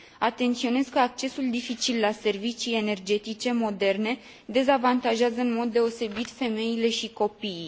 Atenționez că accesul dificil la servicii energetice moderne dezavantajează în mod deosebit femeile și copiii.